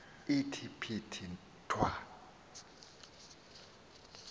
ithi phithi thwa